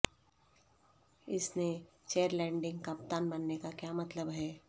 اس نے چیرلیڈنگ کپتان بننے کا کیا مطلب ہے